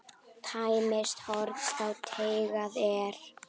Tæmist horn þá teygað er.